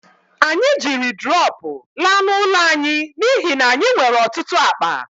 Anyị jiri drọpụ laa n'ụlọ anyị n'ihi na anyị nwere ọtụtụ akpa